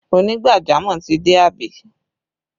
Onigbajamọ̀ ti dé àbí?